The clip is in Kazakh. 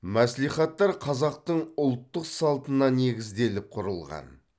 мәслихаттар қазақтың ұлттық салтына негізделіп құрылған